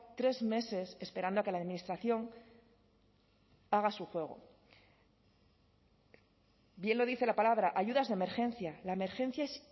tres meses esperando a que la administración haga su juego bien lo dice la palabra ayudas de emergencia la emergencia es